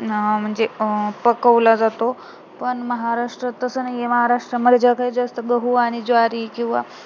म्हणजे अं पकवला जातो पण महाराष्ट्रात तसं नाहीये महाराष्ट्रामध्ये जास्त गहू आणि ज्वारी किंवा